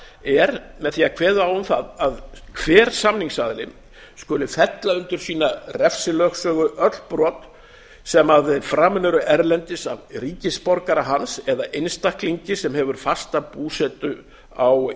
er með því að kveða á um það að hver samningsaðili skuli fella undir sína refsilögsögu öll brot sem framin eru erlendis af ríkisborgara hans eða einstaklingi sem hefur fasta búsetu á